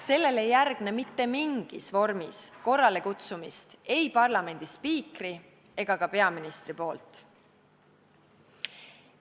Sellele ei järgne mitte mingis vormis korralekutsumist ei parlamendi spiikri ega ka peaministri suust.